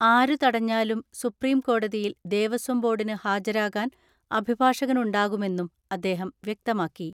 ആരു തടഞ്ഞാലും സുപ്രീം കോടതിയിൽ ദേവസ്വം ബോർഡിന് ഹാജരാകാൻ അഭിഭാഷകനുണ്ടാകുമെന്നും അദ്ദേഹം വ്യക്തമാക്കി.